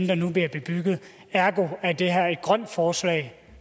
der nu bliver bebygget ergo er det her et grønt forslag